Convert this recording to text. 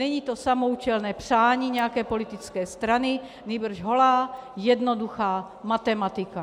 Není to samoúčelné přání nějaké politické strany, nýbrž holá jednoduchá matematika.